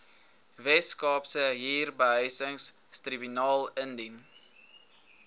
weskaapse huurbehuisingstribunaal indien